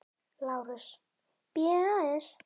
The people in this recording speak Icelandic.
LÁRUS: Bíðið aðeins!